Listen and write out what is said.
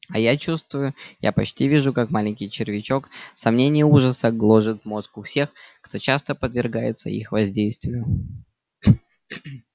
а я чувствую я почти вижу как маленький червячок сомнения и ужаса гложет мозг у всех кто часто подвергается их воздействию